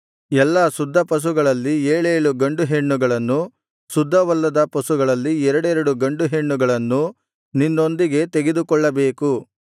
ಎಲ್ಲಾ ಶುದ್ಧ ಪಶುಗಳಲ್ಲಿ ಏಳೇಳು ಗಂಡುಹೆಣ್ಣುಗಳನ್ನು ಶುದ್ಧವಲ್ಲದ ಪಶುಗಳಲ್ಲಿ ಎರಡೆರಡು ಗಂಡುಹೆಣ್ಣುಗಳನ್ನೂ ನಿನ್ನೊಂದಿಗೆ ತೆಗೆದುಕೊಳ್ಳಬೇಕು